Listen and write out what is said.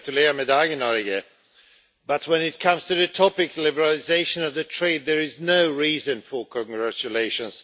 But, when it comes to the topic liberalisation of trade' there is no reason for congratulations.